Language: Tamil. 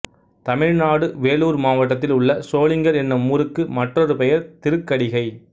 தமிழ்நாடு வேலூர் மாவட்டத்தில் உள்ள சோளிங்கர் என்னும் ஊருக்கு மற்றொரு பெயர் திருக்கடிகை